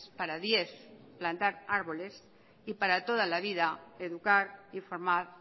para diez plantar árboles y para toda la vida educar y formar